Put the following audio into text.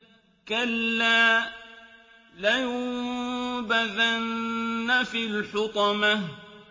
كَلَّا ۖ لَيُنبَذَنَّ فِي الْحُطَمَةِ